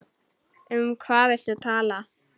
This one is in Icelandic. Um hvað viltu tala?